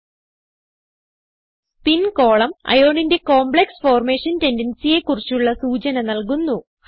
spin കോളം Ironന്റെ complex formation tendencyയെ കുറിച്ചുള്ള സൂചന നൽകുന്നു